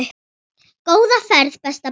Góða ferð besta barn.